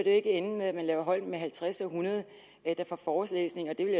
ende med at man laver hold med halvtreds og hundrede der får forelæsninger jeg vil